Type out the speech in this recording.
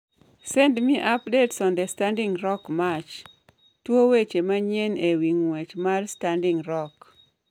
Send me updates on the Standing Rock march. (Tuo weche manyien e wi ng'wech mar Standing Rock)